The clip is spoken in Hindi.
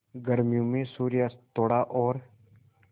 गर्मियों में सूर्यास्त थोड़ा और